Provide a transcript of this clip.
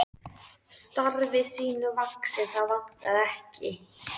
Þótt sagan segði hana ekki hafa trúað á neitt.